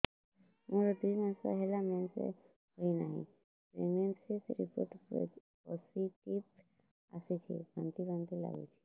ମୋର ଦୁଇ ମାସ ହେଲା ମେନ୍ସେସ ହୋଇନାହିଁ ପ୍ରେଗନେନସି ରିପୋର୍ଟ ପୋସିଟିଭ ଆସିଛି ବାନ୍ତି ବାନ୍ତି ଲଗୁଛି